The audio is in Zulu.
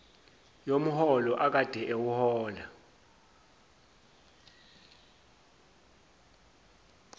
yomholo akade ewuhola